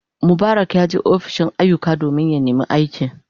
Mubarak yaje ofishin ayyuka domin neman aiki.